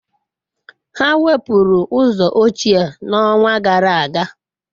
Ha wepụrụ ụzọ ochie n'ọnwa gara aga.